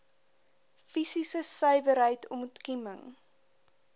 fisiese suiwerheid ontkieming